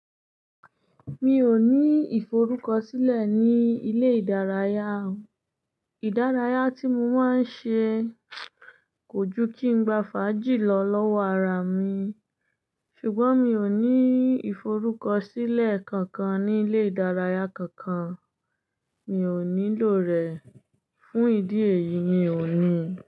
Mi ò ní ìforúkọsílẹ̀ ní ilé ìdárayá o. Ìdárayá tí mo máa ń ṣe kò ju kí n gba fàájì lọ lọ́wọ́ ara mi, ṣùgbọ́n mi ò ní ìforúkọsílẹ̀ kankan ní ilé ìdárayá kankan, mi ò nílò rẹ̀ fún ìdí èyí mi ò ní.